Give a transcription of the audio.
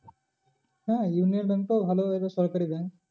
হ্যাঁ union bank টাও ভালো এটা সরকারি bank